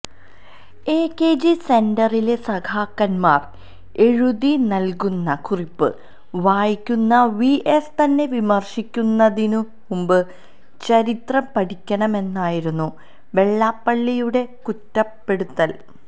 എകെജി സെന്ററിലെ സഖാക്കന്മാർ എഴുതിനൽകുന്ന കുറിപ്പ് വായിക്കുന്ന വി എസ് തന്നെ വിമർശിക്കുന്നതിനു മുമ്പ് ചരിത്രം പഠിക്കണമെന്നായിരുന്നു വെള്ളാപ്പള്ളിയുടെ കുറ്റപ്പെടുത്തൽ